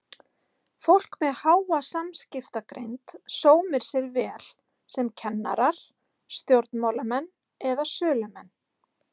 Fólk með háa samskiptagreind sómir sér oft vel sem kennarar, stjórnmálamenn eða sölumenn.